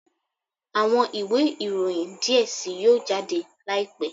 Awọn iwe iroyin diẹ sii yoo jade laipẹ